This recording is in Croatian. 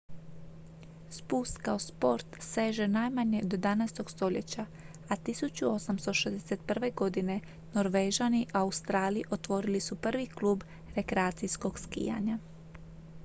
spust kao sport seže najmanje do 17. stoljeća a 1861. godine norvežani u australiji otvorili su prvi klub rekreacijskog skijanja